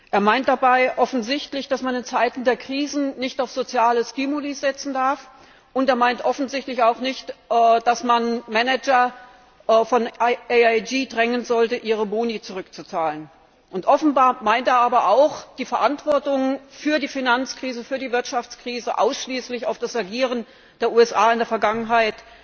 Er meint damit offensichtlich, dass man in Zeiten der Krise nicht auf soziale Stimuli setzen darf, und er meint offensichtlich, dass man Manager von AIG nicht drängen sollte, ihre Boni zurückzuzahlen. Offenbar meint er aber auch, die Verantwortung für die Finanzkrise, für die Wirtschaftskrise ausschließlich auf das Agieren der USA in der Vergangenheit